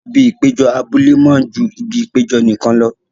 Ibi ìpéjọ abúlé máa ju ibi ìpéjọ nìkan lọ.